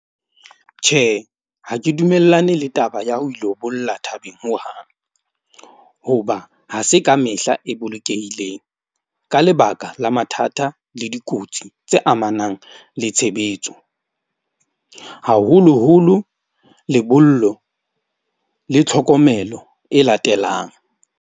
Tjhe, ha ke dumellane le taba ya ho ilo bolla thabeng hohang. Hoba ha se kamehla e bolokehileng ka lebaka la mathata le dikotsi tse amanang le tshebetso, haholoholo lebollo le tlhokomelo e latelang.